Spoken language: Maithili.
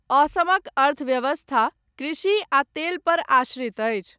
असमक अर्थव्यवस्था, कृषि आ तेलपर आश्रित अछि।